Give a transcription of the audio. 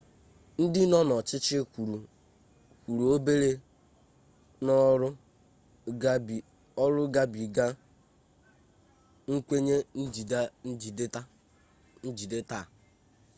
ndị nọ n'ọchịchị kwuru obere n'ọrụ gabiga nkwenye njide taa